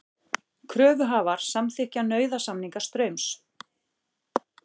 Kröfuhafar samþykkja nauðasamninga Straums